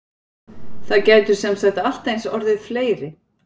Það gætu semsagt allt eins orðið fleiri?